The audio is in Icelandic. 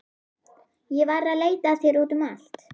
Ég var að leita að þér út um allt.